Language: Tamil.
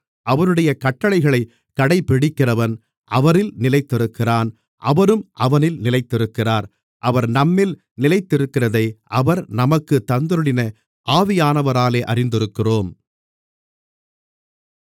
அவருடைய கட்டளைகளைக் கடைப்பிடிக்கிறவன் அவரில் நிலைத்திருக்கிறான் அவரும் அவனில் நிலைத்திருக்கிறார் அவர் நம்மில் நிலைத்திருக்கிறதை அவர் நமக்குத் தந்தருளின ஆவியானவராலே அறிந்திருக்கிறோம்